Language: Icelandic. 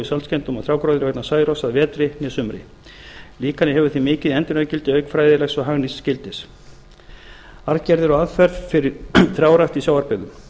saltskemmdum á trjágróðri vegna særoks að vetri né sumri líkanið hefur því mikið endurnýjunargildi auk fræðilegs og hagnýts gildis arfgerðir og aðferðir fyrir trjárækt í sjávarbyggðum